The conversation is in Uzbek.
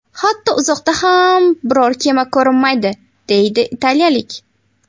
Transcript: Hatto uzoqda ham biror kema ko‘rinmaydi”, deydi italiyalik.